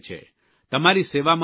તમારી સેવામાં હાજર છે